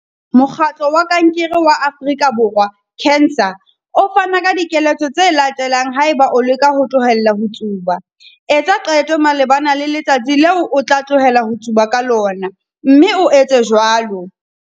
Mokgatlo wa Kankere wa Afrika Borwa, CANSA, o fana ka dikeletso tse latelang haeba o leka ho tlohela ho tsuba- Etsa qeto malebana le letsatsi leo o tla tlohela ho tsuba ka lona, mme o etse jwalo.